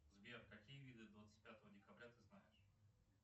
сбер какие виды двадцать пятого декабря ты знаешь